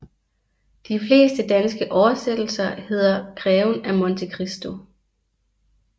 De fleste danske oversættelser hedder Greven af Monte Christo